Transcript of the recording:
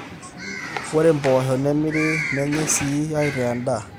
ore impoosho nemirri nenyai sii aitaa endaa